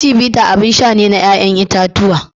Chivita abin sha ne na ƴaƴan itatuwa.